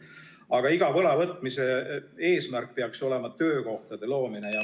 Aga iga võla võtmise eesmärk peaks olema töökohtade loomine.